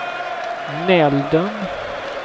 Nälden